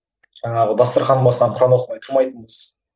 жаңағы дастархан басынан құран оқымай тұрмайтынбыз